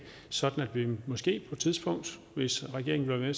så kan vi måske på et tidspunkt hvis regeringen vil være